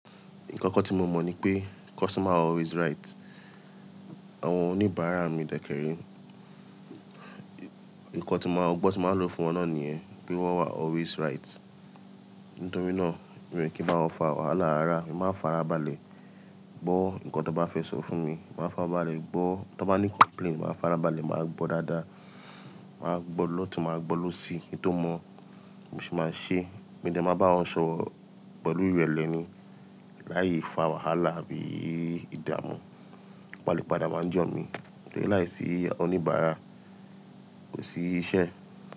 Nǹkan kan tí mo mọ̀ ni pé customer always right. Àwọn oníbàárà mi dẹ́kẹ̀rí, nǹkan tí máa, ọgbọ́n tí máa lò fún wọn náà nìyẹn, pé wọ́n always right. Nítorí náà, mi ò ní kí máa fa wàhálà ara, èmi máa ń farabalẹ̀ gbọ́ nǹkan tí wọ́n bá fẹ́ sọ fún mi, màá fáa balẹ̀ gbọ́. Tí wọ́n bá ní complaint, màá farabalẹ̀, màá gbọ́ dáadáa, màá gbọ́ lọ́tùn, màá gbọ́ lọ́sì. Kí n tó mọ̀, bí mo ṣe máa ṣe é, mò dé máa bá wọn ṣọ̀rọ̀ pẹ̀lú ìrẹ̀lẹ̀ ni lái fa wàhálà àbí ìdààmú. Kí wo bá lè padà wá ńi ojọ̀ mí. Torí láìsí oníbàárà, kò sí iṣẹ́.